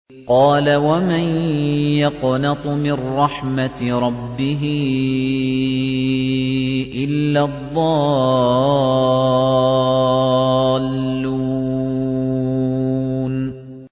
قَالَ وَمَن يَقْنَطُ مِن رَّحْمَةِ رَبِّهِ إِلَّا الضَّالُّونَ